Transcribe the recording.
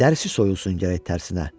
Dərsi soyulsun gərək tərsinə.